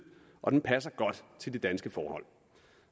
og den passer godt til de danske forhold